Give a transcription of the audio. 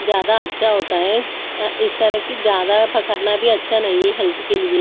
ज्यादा अच्छा होता है इस तरह की ज्यादा पकड़ना भी अच्छा नहीं है हेल्थ के लिए।